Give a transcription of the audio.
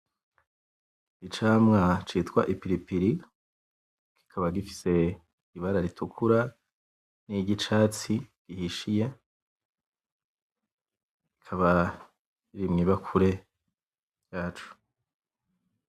Icamwa citwa Ipiripiri kikaba gifise Ibara ritukura, niryicatsi gihishiye kikaba Kiri mwibakure yaco.